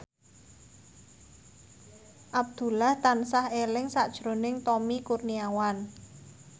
Abdullah tansah eling sakjroning Tommy Kurniawan